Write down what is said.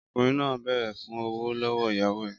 Ọkùnrin náà béèrè fún ọ̀wọ̀ lọ́wọ́ ìyàwó rẹ̀